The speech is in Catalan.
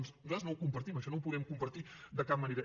nosaltres no ho compartim això no ho podem compartir de cap manera